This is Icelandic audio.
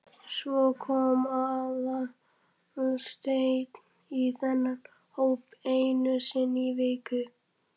Svo kom Aðalsteinn í þennan hóp einu sinni í viku.